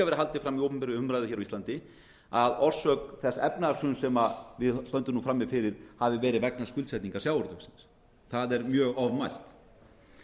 haldið fram í opinberri umræðu hér á íslandi að orsök þess efnahagshruns sem við stöndum nú frammi fyrir hafi verið vegna skuldsetningar sjávarútvegsins það er mjög ofmælt